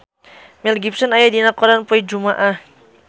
Mel Gibson aya dina koran poe Jumaah